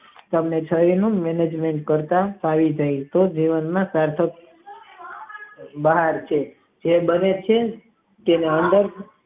તેમાં ચારી નું નીવન કરતા છરી ફાવી જાય છે જીવન માં બહાર છે જે દરેકે અંદર છે.